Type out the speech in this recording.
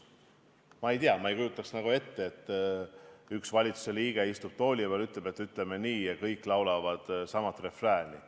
Ma ei tea, ma ei kujutaks ette, kui üks valitsuse liige istub tooli peal ja ütleb, et ütleme nii, ja kõik laulavad sama refrääni.